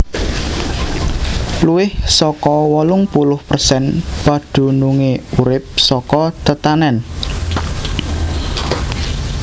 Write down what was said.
Luwih saka wolung puluh persen padunungé urip saka tetanèn